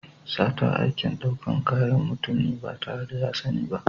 Sata aikin ɗaukan kayan mutum ne ba tare da ya sani ba.